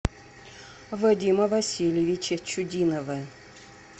вадима васильевича чудинова